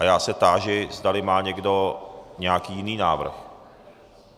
A já se táži, zdali má někdo nějaký jiný návrh.